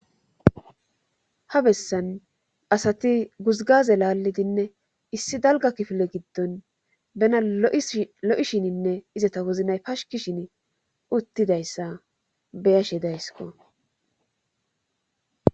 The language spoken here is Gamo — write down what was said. ha bessan asati guzgaze laallidinne issi dalga kifile giddon bena lo'ishininne izeta wozanay pashkishin uttidayssa beyashe daysiko.